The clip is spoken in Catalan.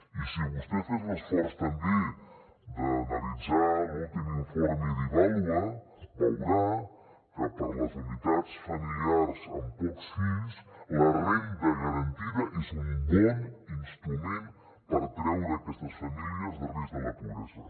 i si vostè fes l’esforç també d’analitzar l’últim informe d’ivàlua veurà que per a les unitats familiars amb pocs fills la renda garantida és un bon instrument per treure aquestes famílies de risc de la pobresa